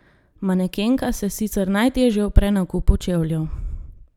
Manekenka se sicer najtežje upre nakupu čevljev.